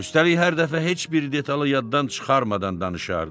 Üstəlik hər dəfə heç bir detalı yaddan çıxarmadan danışardı.